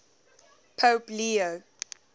pope leo